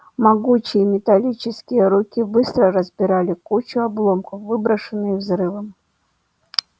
могучие металлические руки быстро разбирали кучу обломков выброшенных взрывом